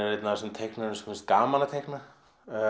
þessum teiknurum sem finnst gaman að teikna